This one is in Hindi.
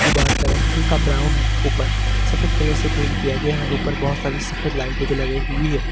दीवार का रंग हल्का ब्राऊन है। ऊपर सफेद कलर से पेंट किया गया है। ऊपर बोहोत सारी सफेद लाइटें भी लगाई हुई हैं।